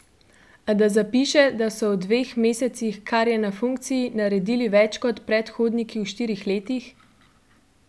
A da zapiše, da so v dveh mesecih, kar je na funkciji, naredili več kot predhodniki v štirih letih?